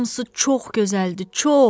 Hamısı çox gözəldir, çox!